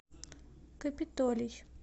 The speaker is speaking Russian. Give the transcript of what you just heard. капитолий